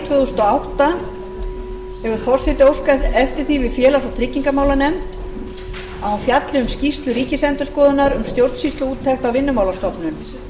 átta hefur forseti óskað eftir því við félags og tryggingamálanefnd að hún fjalli um skýrslu ríkisendurskoðunar um stjórnsýsluúttekt á vinnumálastofnun